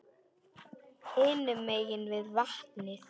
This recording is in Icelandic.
Hinum megin við vatnið.